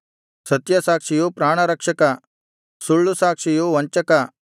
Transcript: ಸತ್ಯಸಾಕ್ಷಿಯು ಪ್ರಾಣರಕ್ಷಕ ಸುಳ್ಳುಸಾಕ್ಷಿಯು ವಂಚಕ